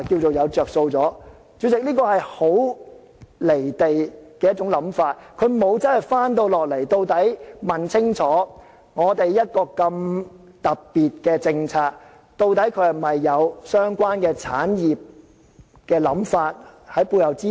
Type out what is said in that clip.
主席，這是一種很"離地"的想法，政府沒有實際地問清楚，一個這麼特別的政策，究竟背後是否有相關產業的想法作支持？